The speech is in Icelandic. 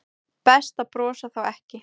Best að brosa þá ekki.